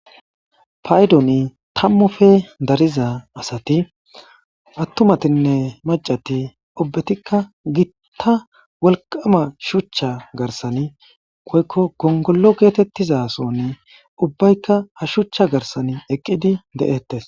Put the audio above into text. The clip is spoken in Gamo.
Payiddon tamuppe darizza asati attumatinne maccati ubbetika gitta wolqqama shucha garsan woyikko gongolo getetiza sooni ubbayika ha shucha garsan eqqidi de'ettes.